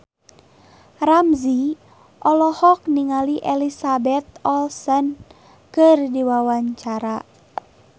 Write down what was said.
Ramzy olohok ningali Elizabeth Olsen keur diwawancara